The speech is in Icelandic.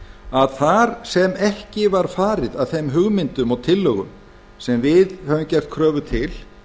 að þar sem ekki var farið að þeim hugmyndum og tillögum sem við höfum gert kröfu til